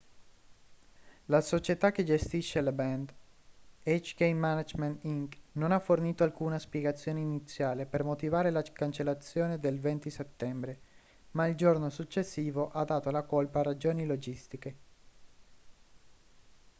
la società che gestisce la band hk management inc non ha fornito alcuna spiegazione iniziale per motivare la cancellazione del 20 settembre ma il giorno successivo ha dato la colpa a ragioni logistiche